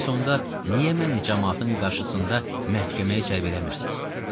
Bəs onda niyə məni camaatın qarşısında məhkəməyə cəlb eləmirsiz?